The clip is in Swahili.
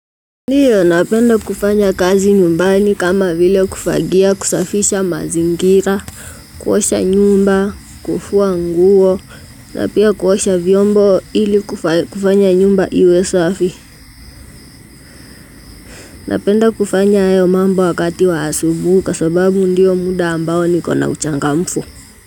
Ndiyo napenda kufanya kazi nyumbani kama vile kufagia, kusafisha mazingira, kuosha nyumba, kufua nguo, napia kuosha vyombo ili kufanya nyumba iwe safi. Napenda kufanya hayo mambo wakati wa asubuhi kwa sababu ndiyo muda ambao nikona uchangamfu.